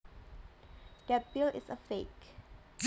That bill is a fake